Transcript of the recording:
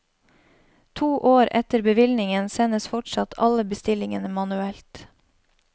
To år etter bevilgningen sendes fortsatt alle bestillingene manuelt.